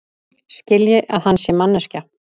Skilji að hann sé manneskja.